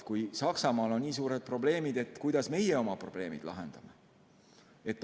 Kui Saksamaal on nii suured probleemid, siis kuidas meie oma probleemid lahendame?